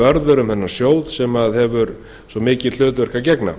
vörður um þennan sjóð sem hefur svo miklu hlutverki að gegna